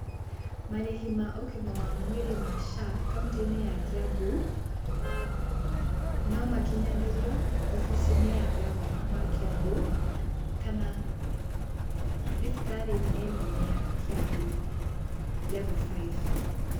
Marĩhi ma ũgima wa mwĩrĩ ma SHA kauntĩ-inĩ ya Kiambu, nomakinyanĩrio wobici-inĩ ya ngavana wa Kĩambu, kana thibitarĩ-inĩ nene ya Kiambu Level Five.